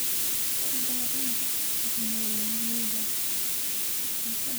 Ku darida tignoolajiyada waxay ka dhigi kartaa barashada mid la heli karo oo soo jiidasho leh.